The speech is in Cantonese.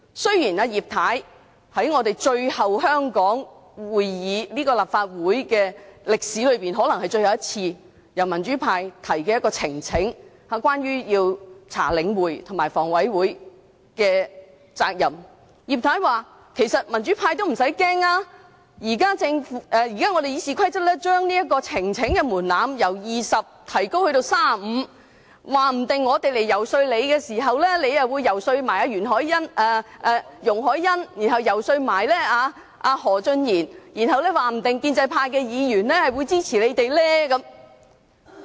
今次可能是葉太在香港立法會會議的歷史中，最後一次支持由民主派提交的呈請書，調查領展和香港房屋委員會的責任，但葉太說民主派不用害怕，修訂《議事規則》，將提交呈請書的門檻由20人提高至35人後，說不定我們日後遊說她時，她也會遊說容海恩議員，然後又遊說何俊賢議員，說不定建制派議員也會支持我們。